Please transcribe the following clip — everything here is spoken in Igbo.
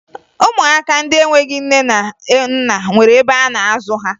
Ụmụaka ndị enweghi nne na nna nwere ebe a na-azụ ha